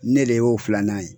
Ne le y'o filan ye.